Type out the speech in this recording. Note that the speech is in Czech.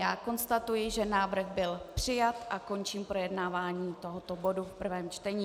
Já konstatuji, že návrh byl přijat, a končím projednávání tohoto bodu v prvém čtení.